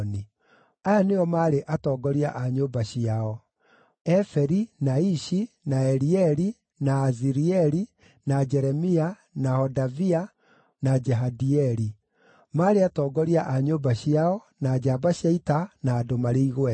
Aya nĩo maarĩ atongoria a nyũmba ciao: Eferi, na Ishi, na Elieli, na Azirieli, na Jeremia, na Hodavia, na Jahadieli. Maarĩ atongoria a nyũmba ciao, na njamba cia ita, na andũ marĩ igweta.